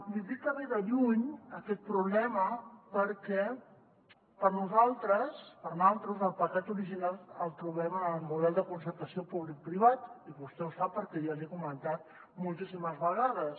li dic que ve de lluny aquest problema perquè per nosaltres el pecat original el trobem en el model de concertació publicoprivat i vostè ho sap perquè ja l’hi he comentat moltíssimes vegades